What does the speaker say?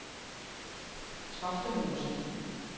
Toftemose